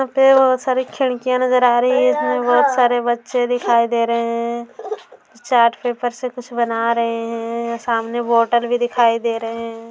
यहां पे बहुत सारे खिड़किया नजर आ रही हैं इसमे बहोत सारे बच्चे दिखाई दे रहे हैं चार्ट पेपर से कुछ बना रहे है सामने बोटल भी दिखाई दे रहे हैं।